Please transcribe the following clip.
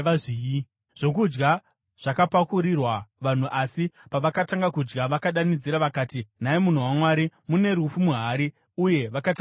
Zvokudya zvakapakurirwa vanhu, asi pavakatanga kudya vakadanidzira vakati, “Nhai munhu waMwari, mune rufu muhari!” Uye vakatadza kuzvidya.